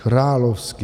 Královsky.